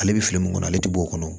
Ale bɛ fili min kɔnɔ ale tɛ bɔ o kɔnɔ